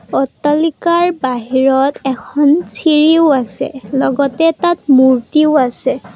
অট্টালিকাৰ বাহিৰত এখন চিৰিও আছে লগতে তাত মূৰ্তিও আছে।